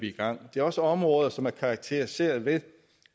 i gang det er også områder som er karakteriseret ved